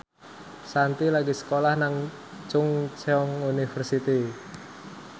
Shanti lagi sekolah nang Chungceong University